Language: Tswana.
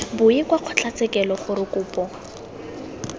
boe kwa kgotlatshekelo gore kopo